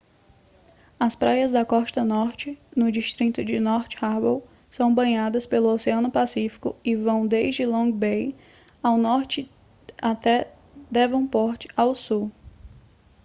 as praias da costa norte no distrito de north harbour são banhadas pelo oceano pacífico e vão desde long bay ao norte até devonport ao sul